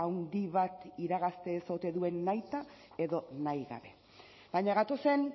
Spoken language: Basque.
handi bat iragazte ez ote duen nahita edo nahigabe baina gatozen